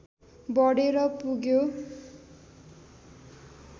बढेर पुग्यो